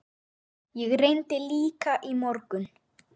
Ég reyndi líka í morgun.